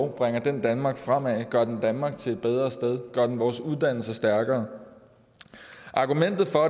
bringer det danmark fremad gør det danmark til et bedre sted gør det vores uddannelser stærkere argumentet for